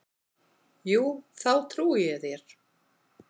Jú, þá trúi ég þér.